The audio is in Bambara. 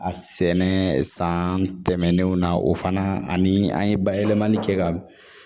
A sɛnɛ san tɛmɛnenw na o fana ani an ye bayɛlɛmali kɛ ka